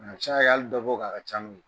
A ka c'a ye ali dɔ b'o kan a ka ca n'o ye